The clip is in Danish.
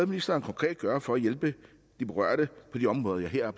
ministeren konkret gøre for at hjælpe de berørte på de områder jeg her